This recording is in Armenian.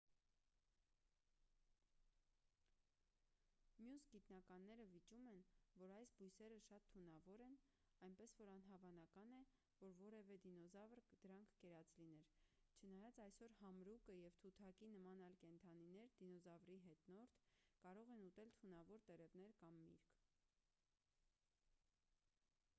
մյուս գիտնականները վիճում են որ այս բույսերը շատ թունավոր են այնպես որ անհավանական է որ որևէ դինոզավր դրանք կերած լիներ չնայած այսօր համրուկը և թութակի նման այլ կենդանիներ դինոզավրի հետնորդ կարող են ուտել թունավոր տերևներ կամ միրգ։